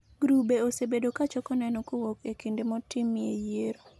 Grube osebedo kachoko neneo kowuok e kuonde motimie yiero